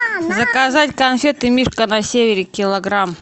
заказать конфеты мишка на севере килограмм